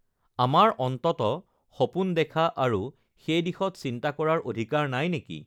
আমাৰ অন্ততঃ সপোন দেখা আৰু সেই দিশত চিন্তা কৰাৰ অধিকাৰ নাই নেকি?